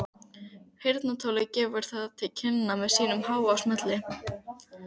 Heyrnartólið gefur það til kynna með háum smelli.